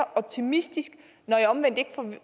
optimistisk når jeg omvendt ikke